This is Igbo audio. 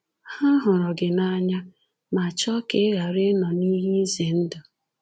Ha hụrụ gị n’anya ma chọọ ka ị ghara ịnọ n’ihe izendụ.